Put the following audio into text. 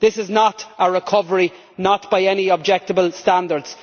This is not a recovery, not by any objective standards.